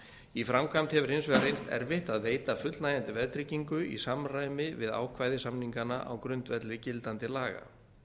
í framkvæmd hefur hins vegar reynst erfitt að veita fullnægjandi veðtryggingu í samræmi við ákvæði samninganna á grundvelli gildandi laga